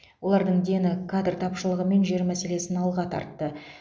олардың дені кадр тапшылығы мен жер мәселесін алдыға тартты